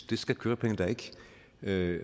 det skal kørepenge da